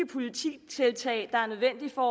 politiktiltag der er nødvendige for